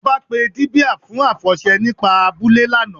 Ọ̀bá pé díbíà fún afọṣẹ̀ nípà àbúlẹ̀ lána.